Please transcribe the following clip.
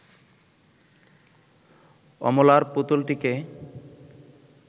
অমলার পুতুলটিকে